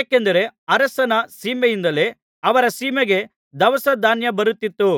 ಏಕೆಂದರೆ ಅರಸನ ಸೀಮೆಯಿಂದಲೇ ಅವರ ಸೀಮೆಗೆ ದವಸಧಾನ್ಯ ಬರುತ್ತಿತ್ತು